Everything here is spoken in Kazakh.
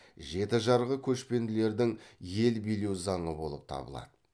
жеті жарғы көшпелілердің ел билеу заңы болып табылады